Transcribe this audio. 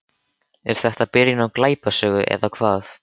Er þetta byrjun á glæpasögu eða hvað?